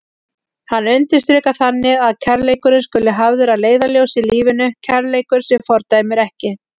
Hann undirstrikar þannig að kærleikurinn skuli hafður að leiðarljósi í lífinu, kærleikur sem fordæmir ekki.